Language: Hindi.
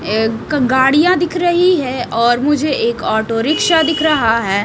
एक गाड़ियां दिख रही है और मुझे एक ऑटो रिक्शा दिख रहा है।